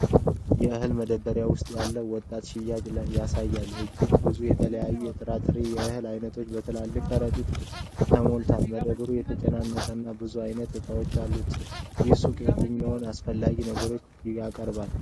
የእህል መደብር ውስጥ ያለ ወጣት ሻጭ ያሳያል። እጅግ ብዙ የተለያዩ የጥራጥሬና የእህል ዓይነቶች በትላልቅ ከረጢቶች ተሞልተዋል። መደብሩ የተጨናነቀና ብዙ ዓይነት ዕቃዎች አሉት። ይህ ሱቅ የትኞቹን አስፈላጊ ነገሮች ያቀርባል?